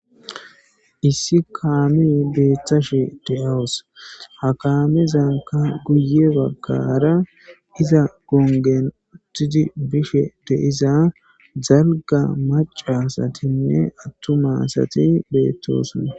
Issi kaamey beettashe de'awus ha kaamezanka guye baggara iza gongen uttidi bishe de'iza dalga macca asatinne attuma asati beetosona.